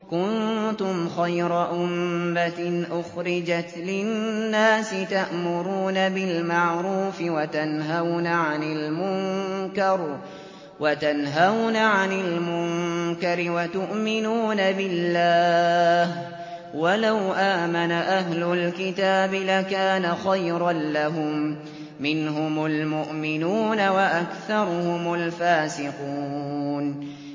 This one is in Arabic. كُنتُمْ خَيْرَ أُمَّةٍ أُخْرِجَتْ لِلنَّاسِ تَأْمُرُونَ بِالْمَعْرُوفِ وَتَنْهَوْنَ عَنِ الْمُنكَرِ وَتُؤْمِنُونَ بِاللَّهِ ۗ وَلَوْ آمَنَ أَهْلُ الْكِتَابِ لَكَانَ خَيْرًا لَّهُم ۚ مِّنْهُمُ الْمُؤْمِنُونَ وَأَكْثَرُهُمُ الْفَاسِقُونَ